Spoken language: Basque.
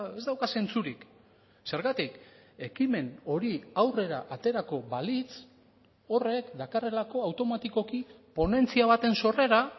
ez dauka zentzurik zergatik ekimen hori aurrera aterako balitz horrek dakarrelako automatikoki ponentzia baten sorrera